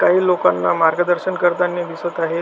काही लोकाना मार्गदर्शन करतानी दिसत आहेत.